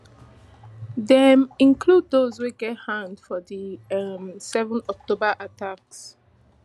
dem include dose wey get hand for di um seven october attacks